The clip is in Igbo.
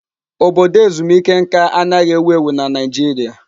Obodo ezumike nka anaghị ewu ewu na Naịjirịa.